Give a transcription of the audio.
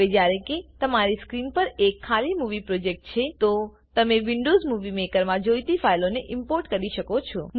હવે જ્યારે કે તમારી સ્ક્રીન પર એક ખાલી મુવી પ્રોજેક્ટ છે તો તમે વિન્ડોવ્ઝ મુવી મેકરમાં જોઈતી ફાઈલોને ઈમ્પોર્ટ કરી શકો છો